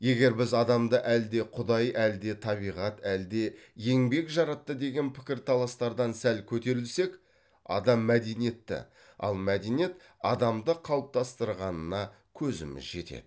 егер біз адамды әлде құдай әлде табиғат әлде еңбек жаратты деген пікірталастардан сәл көтерілсек адам мәдениетті ал мәдениет адамды қалыптастырғанына көзіміз жетеді